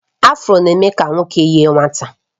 Afro na-eme ka nwoke yie nwata